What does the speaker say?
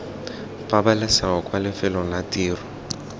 pabalesego kwa lefelong la tiro